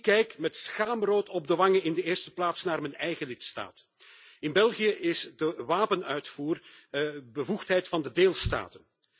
Ik kijk met schaamrood op de wangen in de eerste plaats naar mijn eigen lidstaat in België is de wapenuitvoer bevoegdheid van de deelstaten.